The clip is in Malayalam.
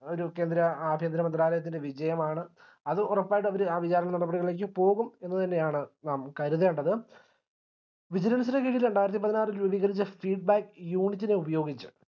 ഒരു കേന്ദ്ര ആഭ്യന്തര മന്ത്രാലയത്തിൻറെ ഒരു വിജയമാണ് അത് ഉറപ്പായിട്ടും അവര് ആ വിചാരണ നടപടികളിലേക് പോകും എന്നുതന്നെയാണ് നാം കരുതേണ്ടത് vigilance ൻറെ കീഴിൽ രണ്ടായിരത്തി പതിനാറ് feedback unit നെ നിയോഗിച്ചു